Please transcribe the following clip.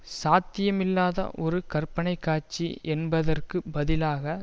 சாத்தியமில்லாத ஒரு கற்பனை காட்சி என்பதற்கு பதிலாக